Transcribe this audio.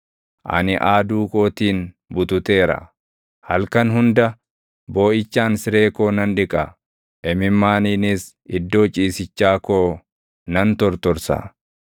Ani aaduu kootiin bututeera. Halkan hunda booʼichaan siree koo nan dhiqa; imimmaaniinis iddoo ciisichaa koo nan tortorsa.